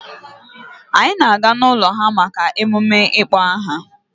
Anyị na-aga n'ụlọ ha maka mmemme ịkpọ aha.